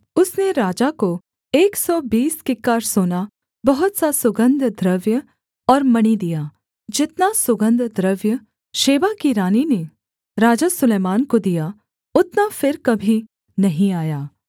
उसने राजा को एक सौ बीस किक्कार सोना बहुत सा सुगन्धद्रव्य और मणि दिया जितना सुगन्धद्रव्य शेबा की रानी ने राजा सुलैमान को दिया उतना फिर कभी नहीं आया